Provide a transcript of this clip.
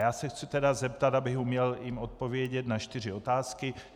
Já se chci tedy zeptat, abych jim uměl odpovědět, na čtyři otázky: